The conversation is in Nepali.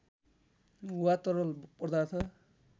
वा तरल पदार्थ